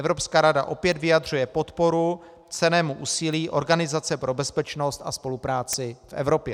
Evropská rada opět vyjadřuje podporu cennému úsilí Organizace pro bezpečnost a spolupráci v Evropě.